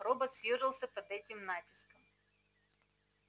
робот съёжился под этим натиском